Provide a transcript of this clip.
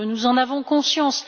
Nous en avons conscience.